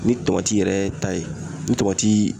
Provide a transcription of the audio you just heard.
Ni tɔmati yɛrɛ ta ye ni tɔmati